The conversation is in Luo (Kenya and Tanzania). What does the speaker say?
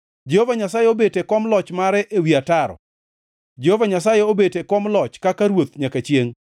Jehova Nyasaye obet e kom loch mare ewi ataro; Jehova Nyasaye obet e kom loch kaka Ruoth nyaka chiengʼ.